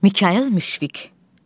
Mikayıl Müşfiq.